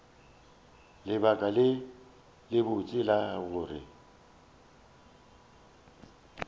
lebaka le lebotse la gore